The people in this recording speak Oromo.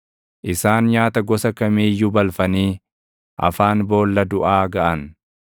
Isaan nyaata gosa kamii iyyuu balfanii afaan boolla duʼaa gaʼan.